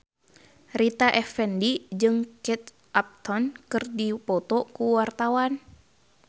Rita Effendy jeung Kate Upton keur dipoto ku wartawan